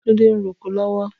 Tunde n rókó lọwọ